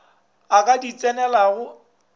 o ka di tsenelago o